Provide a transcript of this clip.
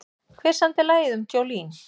Hver samdi lagið um Jolene?